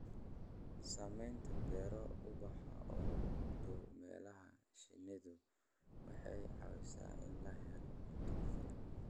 Samaynta beero ubaxa oo u dhow meelaha shinnidu waxay caawisaa in la helo cunto ku filan.